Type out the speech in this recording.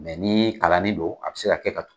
Mɛ ni kalanin don a bɛ se ka kɛ ka tug